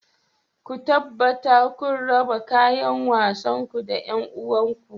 Ku tabbata kuna raba kayan wasanku da 'yan uwanku